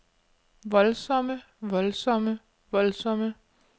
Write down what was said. voldsomme voldsomme voldsomme